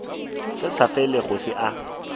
se sa felego se a